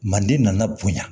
Manden nana bonya